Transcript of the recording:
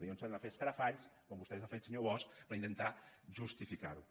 llavors s’han de fer escarafalls com vostè els ha fet senyor bosch per intentar justificar ho